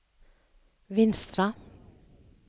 Vinstra